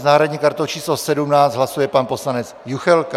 S náhradní kartou číslo 17 hlasuje pan poslanec Juchelka.